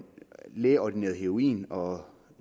lægeordineret heroin og